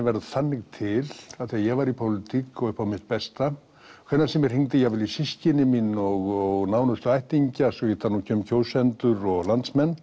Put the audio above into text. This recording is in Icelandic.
verður þannig til að þegar ég var í pólitík og upp á mitt besta hvenær sem ég hringdi jafnvel í systkini mín og nánustu ættingja svo ég tali nú ekki um kjósendur og landsmenn